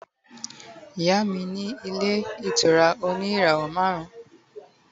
iya mi ni ile itura oni irawo marun